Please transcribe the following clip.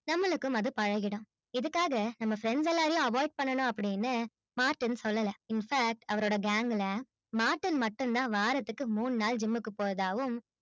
நம்பளுக்கும் அது பழகிடும் இதுக்காக நம்ப friends எல்லாரையும் avoid பண்ணலானும் martin சொல்லல in fact அவரோட gang ல martin மாட்டோம் தான் வாரத்துல மூணு நாள் gym கு பொருத்தவும்